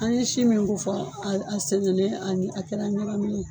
An ye si min ko fɔ a a sɛnɛnen a a kɛra ɲagaminen ye